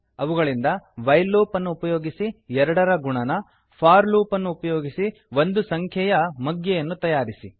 ಅವುಗಳಿಂದ while loop ಅನ್ನು ಉಪಯೋಗಿಸಿ 2 ರ ಗುಣನ ಫೋರ್ ಲೂಪ್ ಉಪಯೋಗಿಸಿ ಒಂದು ಸಂಖ್ಯೆಯ ಮಗ್ಗಿಟೇಬಲ್ಸ್ಯನ್ನು ತಯಾರಿಸಿ